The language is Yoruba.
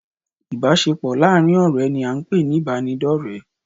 Ìbásepọ̀ láàrin ọ̀rẹ́ ni a n pè ní ìbádọ̀rẹ́